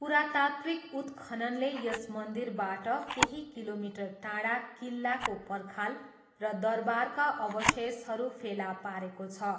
पुरातात्त्विक उत्खननले यस मन्दिरबाट केही किलोमिटर टाढा किल्लाको पर्खाल र दरबारका अवशेषहरू फेला पारेको छ।